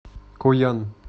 коян